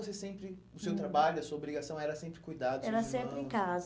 Ou você sempre, o seu trabalho, a sua obrigação era sempre cuidar dos seus irmãos? Era sempre em casa.